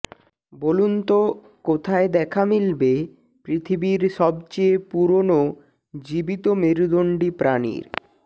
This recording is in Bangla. বলুন তো কোথায় দেখা মিলবে পৃথিবীর সব চেয়ে পুরনো জীবিত মেরুদণ্ডী প্রাণীর